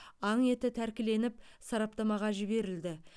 аң еті тәркіленіп сараптамаға жіберілді